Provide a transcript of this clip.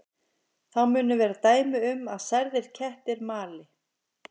Þá munu vera dæmi um að særðir kettir mali.